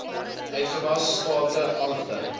uitgawe state aangedui